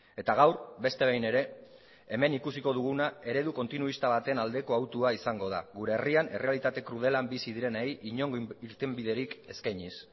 eta gaur beste behin ere hemen ikusiko duguna eredu kontinuista baten aldeko hautua izango da gure herrian errealitate krudelean bizi direnei inongo irtenbiderik eskainiz